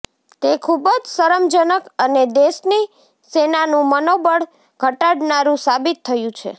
તે ખુબજ શરમજનક અને દેશની સેનાનું મનોબળ ઘટાડનારું સાબિત થયું છે